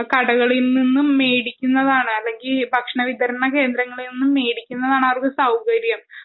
കടകളിൽ നിന്നും മേടിക്കുന്നതാണ് അല്ലെങ്കിൽ ഭക്ഷണ വിതരണ കേന്ദ്രങ്ങളിൽ നിന്നും മേടിക്കുന്നതാണ് അവർക്ക് സൗകര്യം